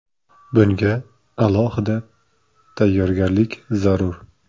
Bunga alohida tayyorgarlik zarur.